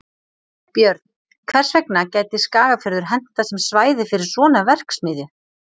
Björn: Hvers vegna gæti Skagafjörður hentað sem svæði fyrir svona verksmiðju?